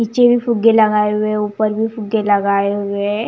नीचे भी फुगे लगाए हुए ऊपर भी फुगे लगाए हुए है।